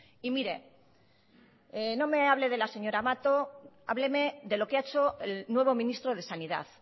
y mire no me hable de la señora mato hábleme de lo que ha hecho el nuevo ministro de sanidad